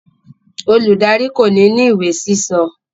Oludari ko ni ni iwe sísọ.